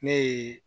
Ne ye